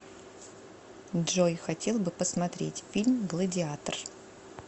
джой хотел бы посмотреть фильм гладиатор